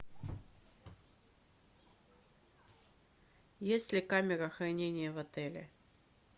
есть ли камера хранения в отеле